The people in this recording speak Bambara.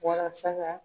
Walasa ka